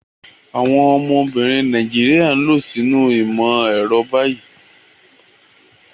Àwọn obìnrin Nàìjíríà ń lọ sínú ìmọ̀ ẹ̀rọ báyìí.